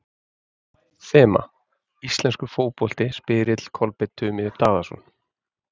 Þema: Íslenskur fótbolti Spyrill: Kolbeinn Tumi Daðason